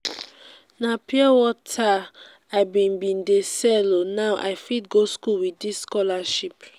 na pure wata i bin bin dey sell o now i fit go skool with dis scholarship.